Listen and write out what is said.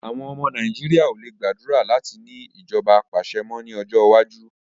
Àwọn ọmọ Nàìjíríà ò le gbàdúrà láti ní ìjọba apàṣẹ mọ́ ní ọjọ́ iwájú